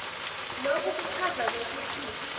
loku kuchaza kwekutsi